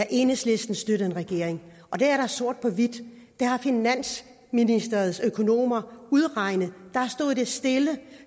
enhedslisten støttede en regering og det er sort på hvidt det har finansministeriets økonomer udregnet da stod det stille